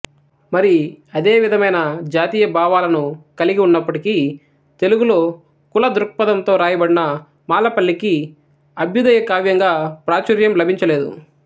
మరి అదేవిధమైన జాతీయభావాలను కలిగివున్నప్పటికీ తెలుగులో కుల దృక్పధంతో రాయబడిన మాలపల్లికి అభ్యుదయ కావ్యంగా ప్రాచుర్యం లభించలేదు